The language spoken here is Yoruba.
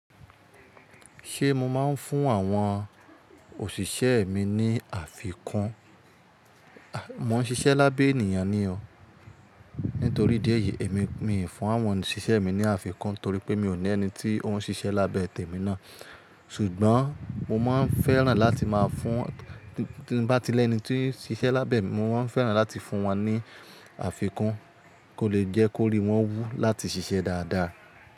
Ṣé mo máa ń fún àwọn òṣìṣẹ́ mi ní àfikún? Mò ń ṣiṣẹ́ lábẹ́ ènìyàn ni ọ, nítorí díẹ̀ yìí èmi miì fún àwọn òṣìṣẹ́ mi ní àfikún torí pé mi ò ní ẹni tí ó ń ṣiṣẹ́ lábẹ́ tèmi ná. Ṣùgbọ́n mo máa ń fẹ́ràn láti má a fún tí n bá ti lẹ́ni tí ń ṣiṣẹ́ lábẹ́ mi mo máa ń fẹ́ràn láti fún wọn ní àfikún, kó lè jẹ́ kó rí wọ́n wú láti ṣiṣẹ́ dáadáa.